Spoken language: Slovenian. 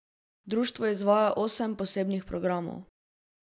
Društvo izvaja osem posebnih programov.